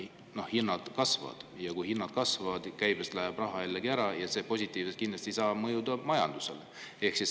Ja kui kasvavad, siis käibest läheb raha jällegi ära ja see positiivselt kindlasti majandusele mõjuda ei saa.